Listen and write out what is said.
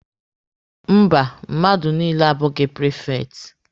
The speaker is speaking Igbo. Mba, mmadụ niile abụghị prifekti.